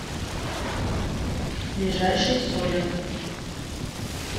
ближайший соллер